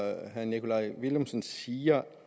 at herre nikolaj villumsen siger